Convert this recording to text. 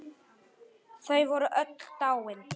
Þau voru öll dáin.